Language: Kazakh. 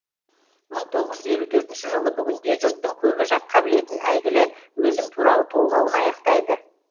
мың тоғыз жүз елу төртінші жылы бүгінде жұрттың көбі жатқа білетін әйгілі өзім туралы толғауын аяқтайды